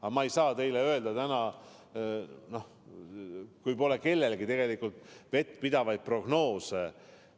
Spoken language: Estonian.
Aga ma ei saa seda teile kinnitada täna, kui kellelgi pole vettpidavaid prognoose.